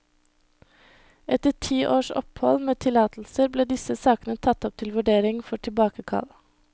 Etter ti års opphold med tillatelser ble disse sakene tatt opp til vurdering for tilbakekall.